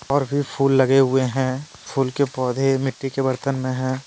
और फिर फूल लगे हुए है फूल के पौधे मिट्टी के बर्तन में है।